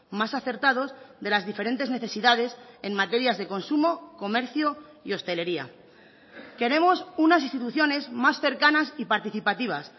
más acertados de las diferentes necesidades en materias de consumo comercio y hostelería queremos unas instituciones más cercanas y participativas